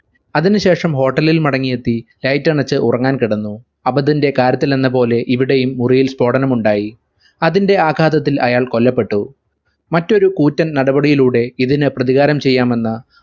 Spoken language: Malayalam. അതിനു ശേഷം hotel ൽ മടങ്ങിയെത്തി light അണച്ച് ഉറങ്ങാൻ കിടന്നു അബാദിന്റെ കാര്യത്തിലെന്ന പോലെ ഇവിടെയും മുറിയിൽ സ്ഫോടനമുണ്ടായി അതിന്റെ ആഘാതത്തിൽ അയാൾ കൊല്ലപ്പെട്ടു മറ്റൊരു കൂറ്റൻ നടപടിയിലൂടെ ഇതിന് പ്രതികാരം ചെയ്യാമെന്ന്